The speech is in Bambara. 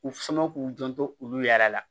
U sɔn k'u janto olu yɛrɛ la